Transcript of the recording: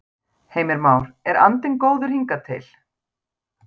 Heimir Már: En andinn góður hingað til?